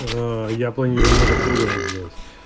а я планирую немного по-другому сделать